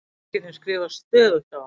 Feðginin skrifast stöðugt á.